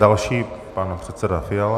Další pan předseda Fiala.